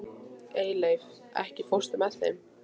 Eyleif, ekki fórstu með þeim?